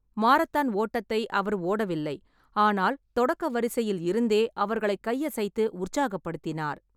Marathon ஓட்டத்தை அவர் ஓடவில்லை, ஆனால் தொடக்க வரிசையில் இருந்தே அவர்களை கையசைத்து உற்சாகப்படுத்தினார்.